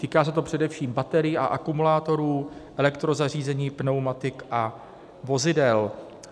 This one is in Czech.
Týká se to především baterií a akumulátorů, elektrozařízení, pneumatik a vozidel.